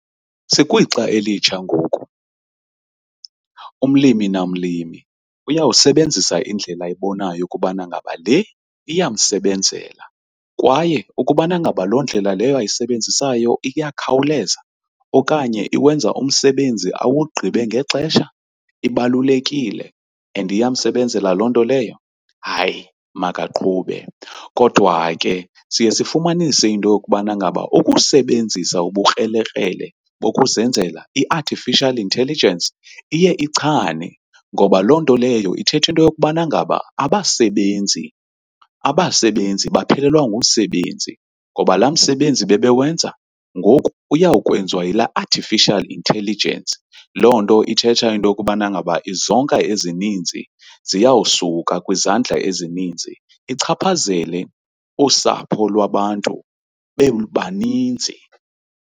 Sikwixa elitsha ngoku, umlimi namlimi uyawusebenzisa indlela ayibonayo ukubana ngaba le iyamsebenzela kwaye ukubana ngaba loo ndlela leyo ayisebenzisayo iyakhawuleza okanye iwenza umsebenzi awugqibe ngexesha ibalulekile and iyamsebenzela loo nto leyo hayi makaqhube. Kodwa ke siye sifumanise into yokubana ngaba ukusebenzisa ubukrelekrele bokuzenzela i-artificial intelligence, iye ichane ngoba loo nto leyo ithetha into yokubana ngaba abasebenzi, abasebenzi baphelelwa ngumsebenzi ngoba laa msebenzi bebewenza ngoku uyawukwenziwa yilaa artificial intelligence. Loo nto ithetha into yokubana ngaba izonka ezininzi ziyawusuka kwizandla ezininzi ichaphazele usapho lwabantu bebaninzi.